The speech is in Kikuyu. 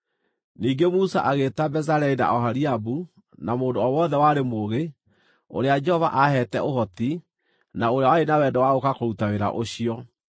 Ningĩ Musa agĩĩta Bezaleli na Oholiabu na mũndũ o wothe warĩ mũũgĩ, ũrĩa Jehova aheete ũhoti, na ũrĩa warĩ na wendo wa gũũka kũruta wĩra ũcio.